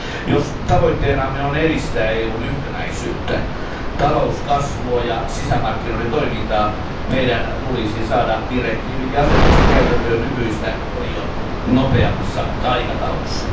Jos tavoitteenamme on edistää EUn yhtenäisyyttä, talouskasvua ja sisämarkkinoiden toimintaa, meidän tulisi saada direktiivit ja asetukset käytäntöön nykyistä paljon nopeammassa aikataulussa.